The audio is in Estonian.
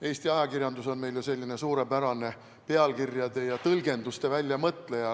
Eesti ajakirjandus on meil ju selline suurepärane pealkirjade ja tõlgenduste väljamõtleja.